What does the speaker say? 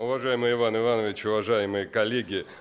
уважаемый иван иванович уважаемые коллеги